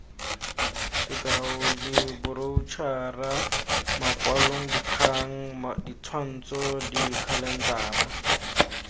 sk diboroutšhara makwalodikgang ditshwantsho dikhalentara